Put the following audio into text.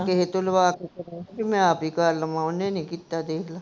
ਕਿਸੇ ਤੋਂ ਲਵਾ ਕੇ ਕੀ ਮੈਂ ਆਪ ਹੀ ਕਰ ਲਵਾਂ, ਓਹਨੇ ਨੀ ਕੀਤਾ ਦੇਖ ਲਾ